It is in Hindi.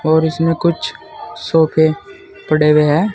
और इसमें कुछ सोफे पड़े हुए हैं।